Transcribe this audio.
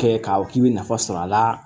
Kɛ k'a fɔ k'i bɛ nafa sɔrɔ a la